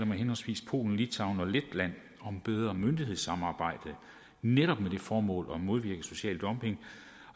med henholdsvis polen litauen og letland om bedre myndighedssamarbejde netop med det formål at modvirke social dumping